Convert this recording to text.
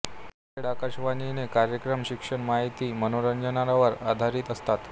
नांदेड आकाशवाणीचे कार्यक्रम शिक्षण माहिती मनोरंजनावर आधारित असतात